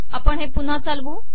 आपण हे पुन्हा चालवू